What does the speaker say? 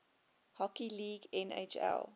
hockey league nhl